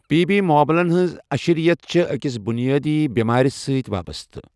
P B معملن ہنز اشرِیت چھے٘ اِكس بٗنِیٲدی بیمارِ سۭتۍ وابسطہٕ ۔